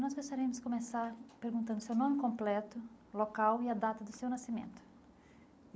Nós gostaríamos de começar perguntando o seu nome completo, local e a data do seu nascimento.